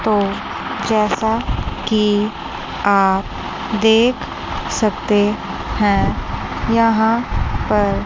तो जैसा कि आप देख सकते हैं यहां पर--